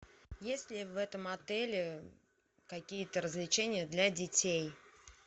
есть ли в этом отеле какие то развлечения для детей